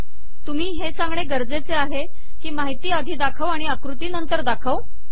तुम्ही हे सांगणे गरजेचे आहे की माहिती आधी दाखव आणि आकृती नंतर दाखव